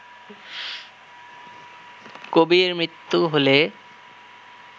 কবির মৃত্যু হলে